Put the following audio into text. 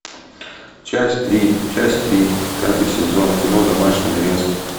часть три часть три пятый сезон кино домашний арест